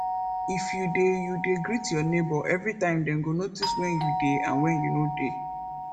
if you de you de greet your neighbour everytime dem go notice when you de and when you no de